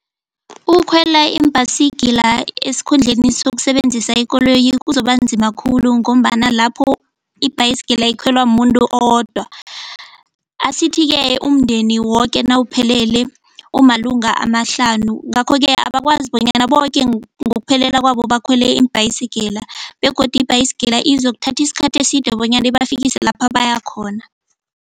Ukukhwela iimbhayisigila esikhundleni sokusebenzisa ikoloyi kuzobanzima khulu ngombana lapho ibhayisigila ikholwa muntu owodwa. Asithi-ke umndeni woke nawuphelele umalunga amahlanu ngakho-ke abakwazi bonyana boke ngokuphelela kwabo bakhwele iimbhayisigila begodu ibhayisigila izokuthatha isikhathi eside bonyana ibafikise lapha bayakhona.